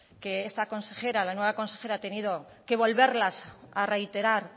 que esta consejera la nueva consejera ha tenido que volverlas a reiterar